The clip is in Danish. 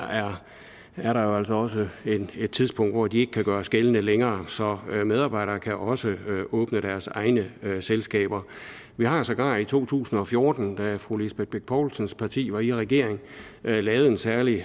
er der jo altså også et tidspunkt hvor de ikke kan gøres gældende længere så medarbejdere kan også åbne deres egne selskaber vi har sågar i to tusind og fjorten da fru lisbeth bech poulsens parti var i regering lavet en særlig